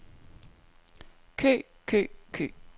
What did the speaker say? kø kø kø